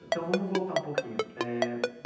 Então, vamos voltar um pouquinho eh.